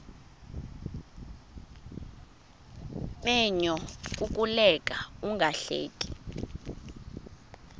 menyo kukuleka ungahleki